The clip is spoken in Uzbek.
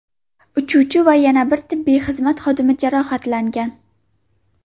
Uchuvchi va yana bir tibbiy xizmat xodimi jarohatlangan.